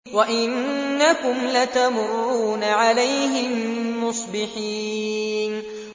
وَإِنَّكُمْ لَتَمُرُّونَ عَلَيْهِم مُّصْبِحِينَ